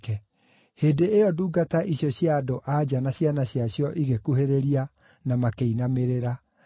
Hĩndĩ ĩyo ndungata icio cia andũ-a-nja na ciana ciacio igĩkuhĩrĩria na makĩinamĩrĩra.